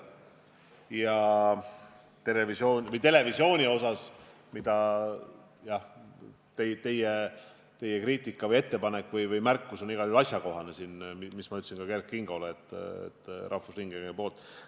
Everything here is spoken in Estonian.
Ja mis puudutab televisiooni, siis jah, teie kriitika või ettepanek või märkus on siin igal juhul asjakohane, ütlesin seda ka Kert Kingole rahvusringhäälinguga seoses.